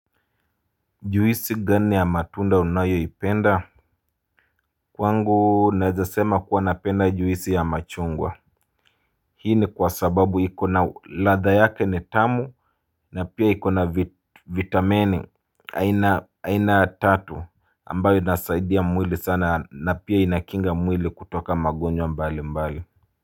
Juisi gani ya matunda unayoipenda. Kwangu nawezasema kuwa napenda juisi ya machungwa. Hii ni kwa sababu ikona ladha yake ni tamu na pia ikona vitamini aina tatu ambayo inasaidia mwili sana na pia inakinga mwili kutoka magonjwa mbali mbali.